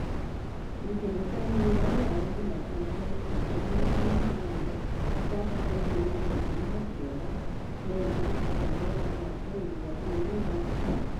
Ngucanio cia mũbira Rūraya Jumatano tarĩki ikũmi na ĩmwe ndithemba mwaka wa ngiri igĩrĩ na ikũmi na-kenda: Neema, Mbabe, Mwake, Iburahĩmu, Madison